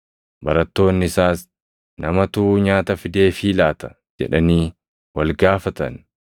Barattoonni isaas, “Namatu nyaata fideefii laata?” jedhanii wal gaafatan.